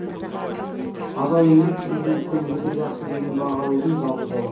адал еңбек президенттен өте жақсы деген баға алудың жалғыз жолы